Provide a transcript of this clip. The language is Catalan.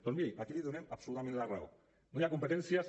doncs miri aquí li donem absolutament la raó no hi ha competències